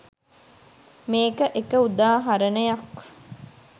මේක එක උදාහරණයක්.